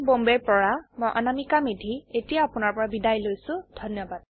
I I T Bombay ৰ পৰা মই অনামিকা মেধী এতিয়া আপুনাৰ পৰা বিদায় লৈছো যোগদানৰ বাবে ধন্যবাদ